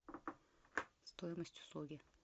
стоимость услуги